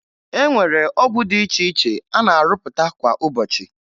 E nwere ọgwụ dị iche iche a na-arụpụta kwa ụbọchị